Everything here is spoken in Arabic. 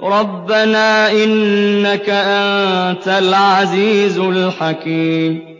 رَبَّنَا ۖ إِنَّكَ أَنتَ الْعَزِيزُ الْحَكِيمُ